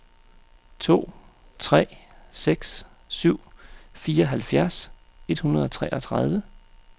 to tre seks syv fireoghalvfjerds et hundrede og treogtredive